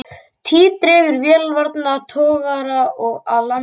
Týr dregur vélarvana togara að landi